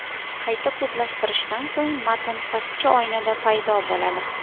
Qayta kodlashtirishdan so‘ng matn pastki oynada paydo bo‘ladi.